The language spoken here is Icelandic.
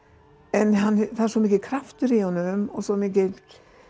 en það er svo mikill kraftur í honum og svo mikil